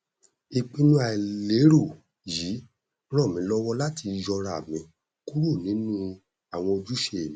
ìpinnu àìlérò yìí ràn mí lọwọ láti yọra mi kúrò nínú àwọn ojúṣe mi